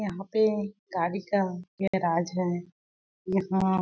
यहाँ पे गाड़ी का यह गैराज है यहाँ--